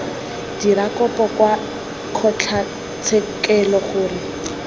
dira kopo kwa kgotlatshekelo gore